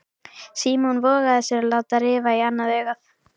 Símon vogaði sér að láta rifa í annað augað.